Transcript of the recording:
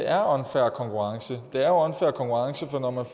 er unfair konkurrence det er unfair konkurrence for når man